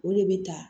O de bɛ ta